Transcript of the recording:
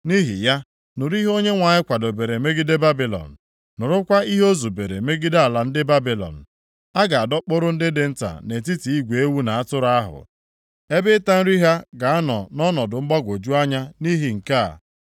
Nʼihi ya, nụrụ ihe Onyenwe anyị kwadobere megide Babilọn, nụrụkwa ihe o zubere megide ala ndị Babilọn. A ga-adọkpụrụ ndị dị nta nʼetiti igwe ewu na atụrụ ahụ. Ebe ịta nri ha ga-anọ nʼọnọdụ mgbagwoju anya nʼihi nke a.